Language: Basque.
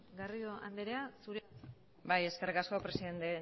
garrido andrea zurea da hitza bai eskerrik asko presidenta